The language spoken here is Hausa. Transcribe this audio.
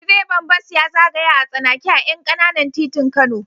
Direban bas ya zagaya a tsanake a ƴan ƙananan titin Kano.